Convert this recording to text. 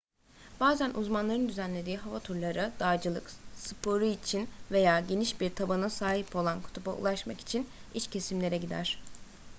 bazen uzmanların düzenlediği hava turları dağcılık sporu için veya geniş bir tabana sahip olan kutuba ulaşmak için iç kesimlere gider